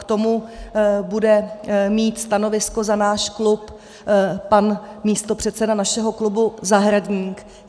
K tomu bude mít stanovisko za náš klub pan místopředseda našeho klubu Zahradník.